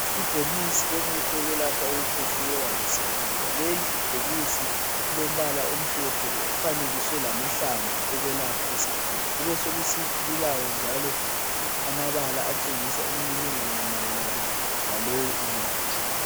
Ibhokisi lomuthi wokwelapha ukukhwehlela lesifuba. Leli ibhokisi lilombala omhlophe lifanekiswe lamahlamvu okwelapha isifuba. Kubesokusithi lilawo njalo amabala atshengisa imininingwana mayelana lalowo muthi.